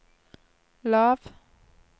lav